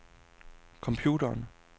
computeren